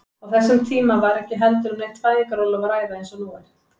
Á þessum tíma var ekki heldur um neitt fæðingarorlof að ræða eins og nú er.